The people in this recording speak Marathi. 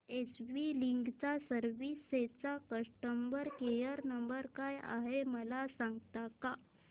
एस वी लीगल सर्विसेस चा कस्टमर केयर नंबर काय आहे मला सांगता का